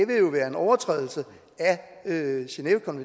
vil jo være en overtrædelse af er